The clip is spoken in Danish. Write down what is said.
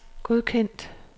godkendt